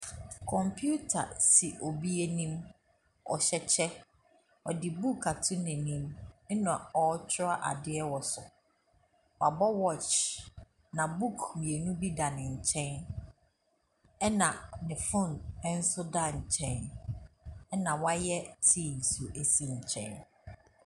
Computer si obi anim. Ɔhyɛ kyɛ. Ɔde book ato n'anim na ɔretwerɛ adeɛ wɔ so. Wabɔ wacth, na book mmienu bi da ne nkyɛn, ɛnna ne phone nso da nkyɛn, ɛnna wayɛ tea nso si nkyɛn.